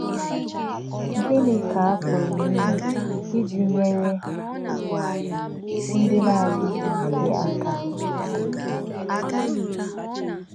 Gịnị̄ kā̄ à pụ̀rụ́ ímè̄ íjì̄ nyèrè̄ ndí̄ nā̄-ádí̄ghí̄ íkè̄ ákà̄?